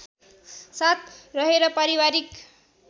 साथ रहेर पारिवारिक